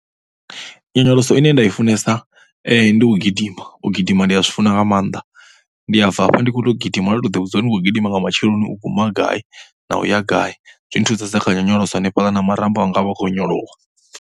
Nyonyoloso ine nda i funesa ndi u gidima, u gidima ndi ya zwi funesa nga maanḓa. Ndi ya bva hafha ndi khou gidima, ndo tou ḓivhudza uri ndi khou gidima nga matsheloni u guma gai na u ya gai. Zwi thusesa kha nyonyoloso na marambo anga a vha a khou onyolowa.